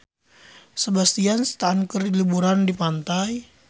Sebastian Stan keur liburan di pantai